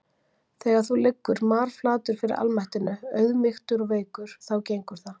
Þegar þú liggur marflatur fyrir almættinu, auðmýktur og veikur, þá gengur það.